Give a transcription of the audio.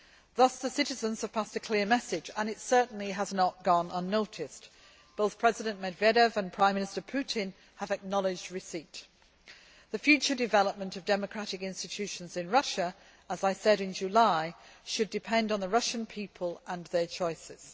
Thus the citizens have passed a clear message, and it certainly has not gone unnoticed. Both President Medvedev and Prime Minister Putin have acknowledged receipt. The future development of democratic institutions in Russia, as I said in July, should depend on the Russian people and their choices.